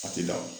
A tɛ da